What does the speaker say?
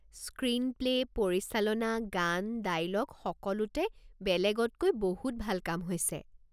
Screenplay, পৰিচালনা, গান, dialogue সকলোতে বেলেগতকৈ বহুত ভাল কাম হৈছে।